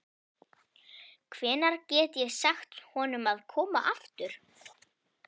Hvenær get ég sagt honum að koma aftur?